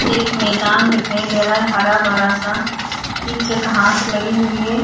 एक मैंदान दिखाई दे रहा है हरा भरा सा नीचे घांस लगी हुई है।